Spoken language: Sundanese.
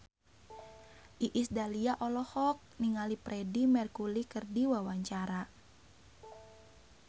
Iis Dahlia olohok ningali Freedie Mercury keur diwawancara